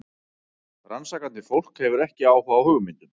Rannsakandi fólk hefur áhuga á hugmyndum.